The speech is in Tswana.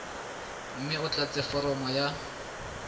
mme o tlatse foromo ya